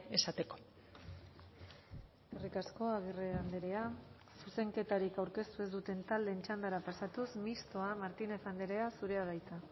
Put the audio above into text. esateko eskerrik asko agirre andrea zuzenketarik aurkeztu ez duten taldeen txandara pasatuz mistoa martínez andrea zurea da hitza